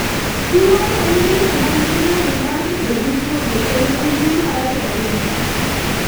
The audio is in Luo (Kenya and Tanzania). Tuwono hinyo joma nigi nyalo mar kedo gi tuoche, kendo en tuwo marach ahinya.